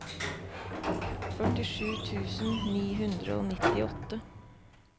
førtisju tusen ni hundre og nittiåtte